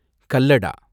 கல்லடா